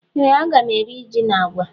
Ee aga mụ eri jị na àgwà